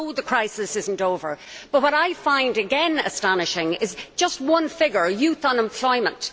We know the crisis is not over but what I again find astonishing is just one figure, that of youth unemployment.